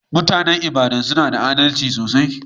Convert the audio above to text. Mutanen lbadan suna da adalci sosai.